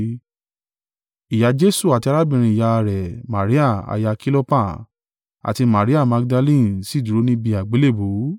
Ìyá Jesu àti arábìnrin ìyá rẹ̀ Maria aya Kilopa, àti Maria Magdalene sì dúró níbi àgbélébùú,